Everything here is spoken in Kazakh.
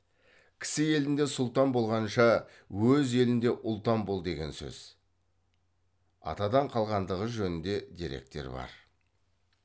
кісі елінде сұлтан болғанша өз еліңде ұлтан бол деген сөз атадан қалғандығы жөнінде деректер бар